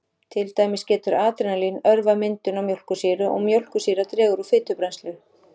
Til dæmis getur adrenalín örvað myndun á mjólkursýru og mjólkursýra dregur úr fitubrennslu.